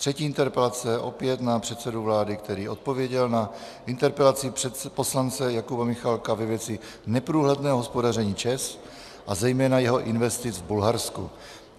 Třetí interpelace je opět na předsedu vlády, který odpověděl na interpelaci poslance Jakuba Michálka ve věci neprůhledného hospodaření ČEZ a zejména jeho investic v Bulharsku.